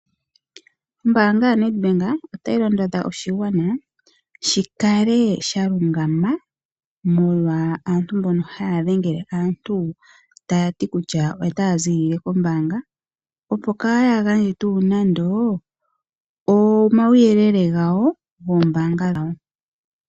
Ombaanga yaNedbank otayi londodha oshingwana shikale sha lungama molwa aantu mbono haya dhengele aantu taya ti kutya itaya zilile kombanga opo kayangandje tu nande omawuyelele ngawo ngoombanga dhawo.